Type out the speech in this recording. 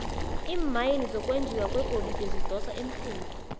iimayini zokwenjiwa kwegolide zidosa emhlweni